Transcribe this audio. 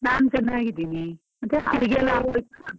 ನಾನ್ ಚೆನ್ನಾಗಿದ್ದೀನಿ. ಮತ್ತೆ ಅಡಿಗೆ ಎಲ್ಲಾ ಆಗ್ ಹೊಯ್ತಾ?